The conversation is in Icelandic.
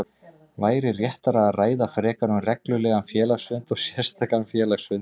væri réttara að ræða frekar um reglulegan félagsfund og sérstakan félagsfund.